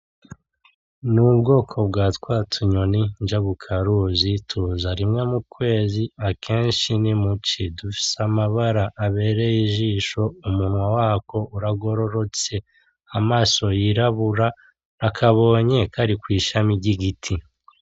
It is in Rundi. N'ubwoko bwatwatunyoni njabukaruzi, tuza rimwe mu kwezi akenshi nimu ci, dufise amabara abereye ijisho, umunwa watwo uragorotse amaso y'irabura nakabonye kari kw'ishama ry'igiti.